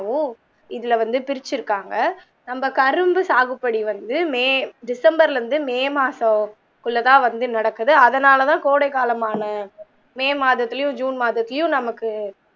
இதுல வந்து பிரிச்சிருக்காங்க நம்ம கரும்பு சாகுப்பொடி வந்து may december ல இருந்து may மாசம் குள்ள தான் வந்து நடக்குது அதனால தான் கோடைகாலமான may மாதத்திலயும் june மாதத்திலயும் நமக்கு இதுல வந்து பிரிச்சிருக்காங்க